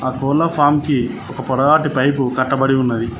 ఆ కోళ్ల ఫార్మ్ కి ఒక పొడవాటి పైపు కట్టబడి ఉన్నది.